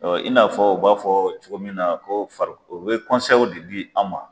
Ɔ in n'a fɔ u b'a fɔ cogo min na ko fariko o bɛ de di an ma.